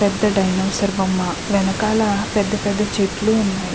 పెద్ధ డైనోసార్ బొమ్మ వెనకాల పెద్ధ పెద్ధ చెట్లు ఉన్నాయి.